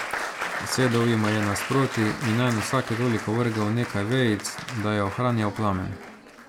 Sedel jima je nasproti in nanj vsake toliko vrgel nekaj vejic, da je ohranjal plamen.